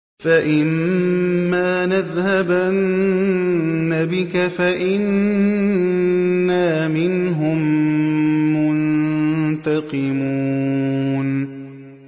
فَإِمَّا نَذْهَبَنَّ بِكَ فَإِنَّا مِنْهُم مُّنتَقِمُونَ